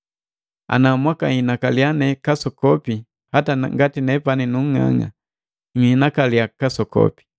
Ana mwakahinakaliya ne kasokopi, hata ngati nepani nu nnga'ang'a! Nhinakaliya kasokopi.